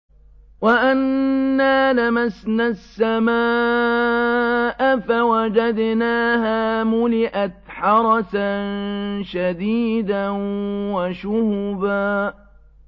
وَأَنَّا لَمَسْنَا السَّمَاءَ فَوَجَدْنَاهَا مُلِئَتْ حَرَسًا شَدِيدًا وَشُهُبًا